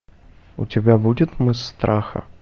у тебя будет мыс страха